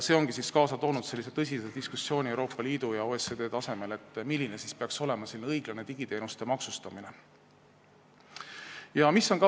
See on kaasa toonud tõsise diskussiooni Euroopa Liidu ja OECD tasemel, milline peaks olema õiglane digiteenuste maksustamine.